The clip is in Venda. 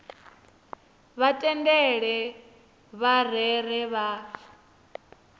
vha tendele vha rere vha